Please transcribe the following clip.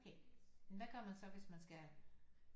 Okay hvad gør man så hvis man skal